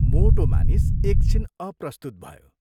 " मोटो मानिस एक छिन अप्रस्तुत भयो।